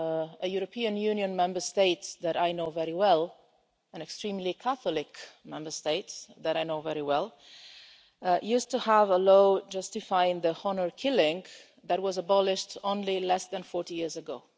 A European Union Member State that I know very well, an extremely Catholic Member State that I know very well used to have a law justifying honour killing that was abolished only less than 40 years ago.